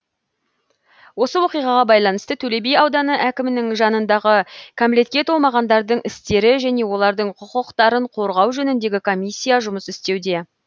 осы оқиғаға байланысты төлеби ауданы әкімінің жанындағы кәмелетке толмағандардың істері және олардың құқықтарын қорғау жөніндегі комиссия жұмыс істеуде